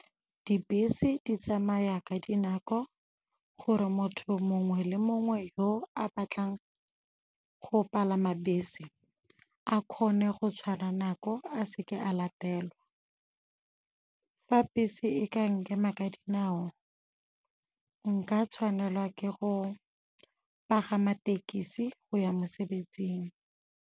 Dibese di tsamaya ka dinako gore motho mongwe le mongwe yo a batlang go palama bese a kgone go tshwara nako a seke a latelwa. Fa bese e ka nkema ka dinao, nka tshwanelwa ke go pagama thekisi go ya mosebetsing.